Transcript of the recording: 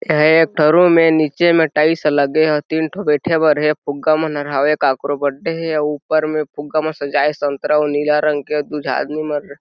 एहाँ एक ठो रूम हे नीचे में टाइल्स लगे हे तीन ठो बैठे वर हे फुग्गा मनहर हावे काकरो बर्थडे हे ऊपर में फुग्गा मन सजाये संतरा और नीला रंग के अउ दू झन आदमी मन --